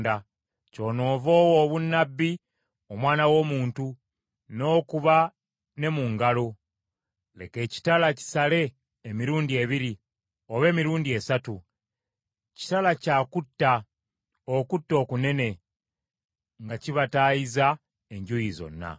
“Kyonoova owa obunnabbi, omwana w’omuntu, n’okuba ne mu ngalo. Leka ekitala kisale emirundi ebiri oba emirundi esatu. Kitala kya kutta, okutta okunene, nga kibataayiza enjuuyi zonna,